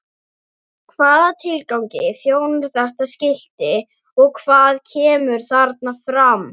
Hvaða tilgangi þjónar þetta skilti og hvað kemur þarna fram?